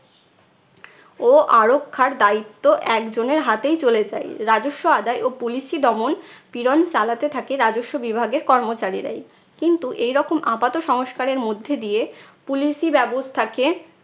ও আরক্ষার দায়িত্ব একজনের হাতেই চলে যায়। রাজস্ব আদায় ও police ই দমন পীড়ন চালাতে থাকে রাজস্ব বিভাগের কর্মচারীরাই। কিন্তু এইরকম আপাত সংস্কারের মধ্যে দিয়ে